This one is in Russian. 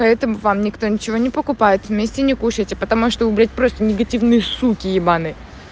поэтому вам никто ничего не покупает вместе не кушайте потому что вы блять просто негативные суке ебанные